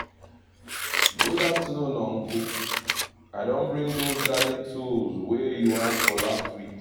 good afternoon uncle. i don bring those garden tools wey you ask for last weekend